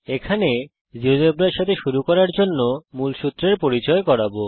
এই টিউটোরিয়াল এ আমি আপনাদের জীয়োজেব্রার সঙ্গে শুরু করার জন্যে মূলসূত্রের পরিচয় করাব